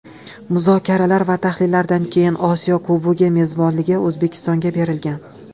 Muzokaralar va tahlillardan keyin Osiyo Kubogi mezbonligi O‘zbekistonga berilgan.